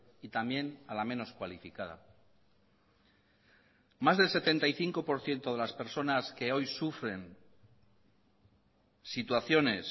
y también a la menos cualificada más del setenta y cinco por ciento de las personas que hoy sufren situaciones